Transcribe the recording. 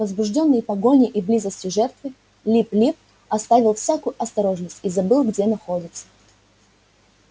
возбуждённый погоней и близостью жертвы лип лип оставил всякую осторожность и забыл где находится